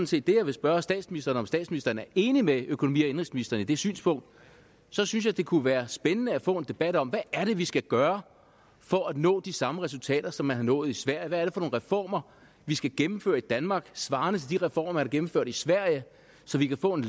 set det jeg vil spørge statsministeren om statsministeren er enig med økonomi og indenrigsministeren i det synspunkt så synes jeg det kunne være spændende at få en debat om hvad er vi skal gøre for at nå de samme resultater som man har nået i sverige hvad er reformer vi skal gennemføre i danmark svarende til de reformer man har gennemført i sverige så vi kan få en